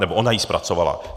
Nebo ona ji zpracovala.